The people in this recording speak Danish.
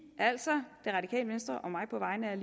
altså det radikale venstre og mig på vegne af